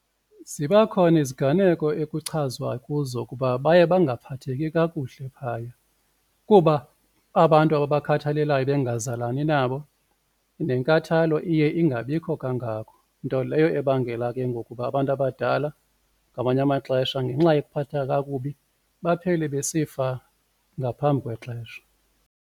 Ziba khona iziganeko ekuchazwa kuzo ukuba baye bangaphatheki kakuhle phaya kuba abantu ababakhathalelayo bengazalani nabo nenkathalo iye ingabikho kangako nto leyo ebangela ke ngoku uba abantu abadala ngamanye amaxesha ngenxa yokuphatheka kakubi baphele besifa ngaphambi kwexesha.